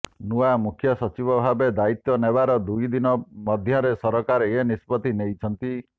ନୂଆ ମୁଖ୍ୟ ସଚିବ ଭାବେ ଦାୟିତ୍ୱ ନେବାର ଦୁଇଦିନ ମଧ୍ୟରେ ସରକାର ଏ ନିଷ୍ପତ୍ତି ନେଇଛନ୍ତି